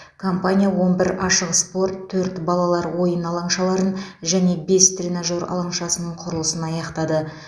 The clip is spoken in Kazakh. компания он бір ашық спорт төрт балалар ойын алаңшаларын және бес тренажер алаңшасының құрылысын аяқтады